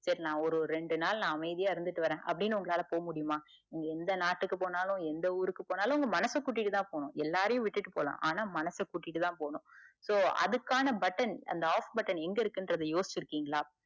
சேரி நா ஒரு ரெண்டு நாள் நா அமைதியா இருந்துட்டு வர அப்டின்னு உங்களால போவ முடிமா நீங்க எந்த நாட்டுக்கு போனாலும் எந்த ஊருக்கு போனாலும் உங்க மனச கூட்டிட்டுதான் போகணும் எல்லாரையும் விட்டுட்டு போலாம் ஆனா மனச கூட்டிட்டு தான் போணும் so அதுக்கான button அந்த off button எங்க இருக்குனு யோசிச்சிருக்கின்களா